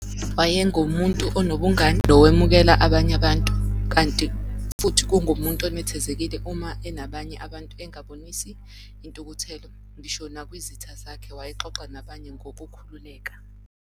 Wayengumuntu onobungani, nowemukela abanye abantu, kanti futhi kungumuntu onethezekile uma enabanye abantu engabonisi intukuthelo, ngisho nakwizitha zakhe, wayexoxa nabanye ngokukhululeka.